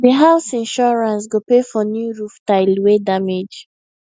the house insurance go pay for new roof tile wey damage